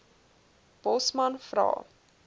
bosman vra